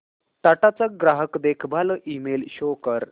टाटा चा ग्राहक देखभाल ईमेल शो कर